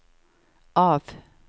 av